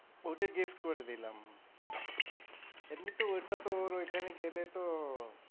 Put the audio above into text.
ওকে gift করে দিলাম। এমনিতেও ওইটা তো ওর ওইখানে গেলে তো,